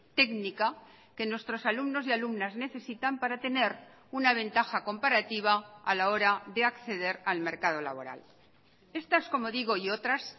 técnica que nuestros alumnos y alumnas necesitan para tener una ventaja comparativa a la hora de acceder al mercado laboral estas como digo y otras